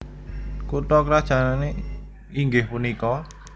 Kutha krajané inggih punika